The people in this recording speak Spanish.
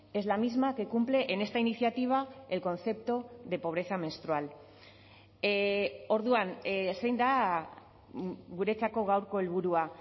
es la misma que cumple en esta iniciativa el concepto de pobreza menstrual orduan zein da guretzako gaurko helburua